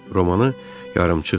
Romanı yarımçıqdı.